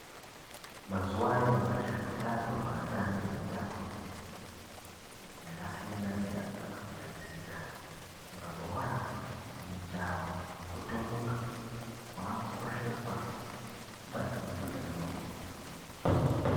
Mazuwa anyamashi utano hweatambi anotamba mutambo dzakasiyana siyana kusanganisisira mabhora mijaho kutomuka hwaakukosjeswa maningi utanohwo.